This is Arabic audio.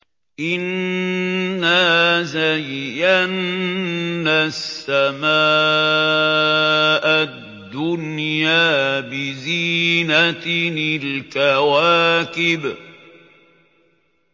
إِنَّا زَيَّنَّا السَّمَاءَ الدُّنْيَا بِزِينَةٍ الْكَوَاكِبِ